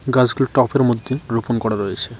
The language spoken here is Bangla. গাছগুলো টপের মধ্যে রোপণ করা রয়েছে।